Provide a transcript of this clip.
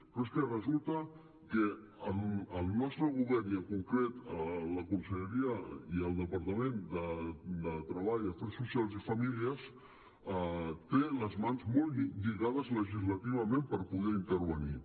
però és que resulta que el nostre govern i en concret la conselleria i el departament de treball afers socials i famílies té las mans molt lligades legislativament per poder intervenir